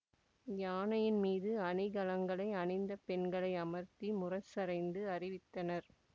யானையின் மீது அணிகலன்களை அணிந்த பெண்களை அமர்த்தி முரசறைந்து அறிவித்தனர்